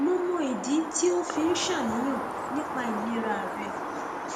mo mọ ìdí tí o fi ń ṣàníyàn nípa ìlera rẹ